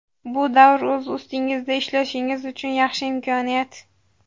Bu davr o‘z ustingizda ishlashingiz uchun yaxshi imkoniyat.